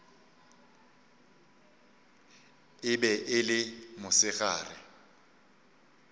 e be e le mosegare